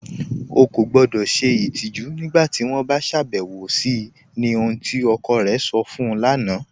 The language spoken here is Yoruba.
Ọ̀ kọ gbọdọ́ ṣẹ itijù nígbàtí wọn bá ṣàbẹwọ̀ sí ni ohun tí ọkọ̀ rẹ̀ sọ̀ fún u lána